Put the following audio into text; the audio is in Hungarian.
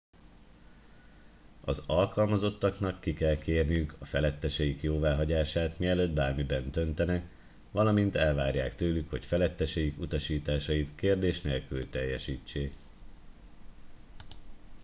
az alkalmazottaknak ki kell kérniük a feletteseik jóváhagyását mielőtt bármiben döntenek valamint elvárják tőlük hogy feletteseik utasításait kérdés nélkül teljesítsék